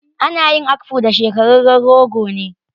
Ana yin akpu da shekararren rogo ne.